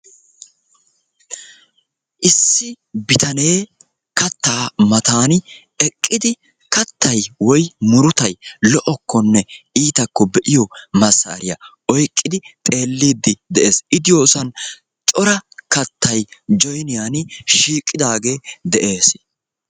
Issi bitanee kattaa mattan eqqidi kattay woykko murutay lo''okkonne iitakkonne be'iyo massariyaa oyqqidi xeellide de'ees. I diyosan cora kattay Joyniyaan shiiqidaage de'ees.